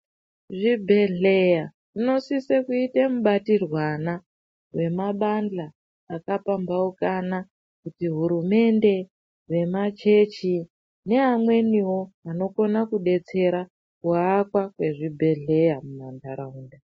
Zvibhedhleya zvinosise kuite mubatirwana wemabandla akapambaukana, kuti hurumende, vemachechi ne amweniwo anokona kudetserakuwaka kwezvibhedhlera mumanharawunda.